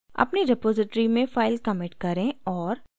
अपनी repository में file commit करें और